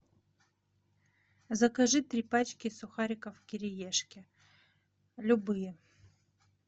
закажи три пачки сухариков кириешки любые